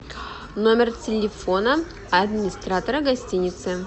номер телефона администратора гостиницы